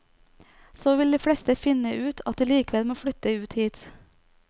Så vil de fleste finne ut at de likevel må flytte ut hit.